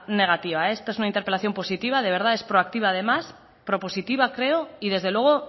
negativa esta es una interpelación positiva es proactiva además propositiva creo y desde luego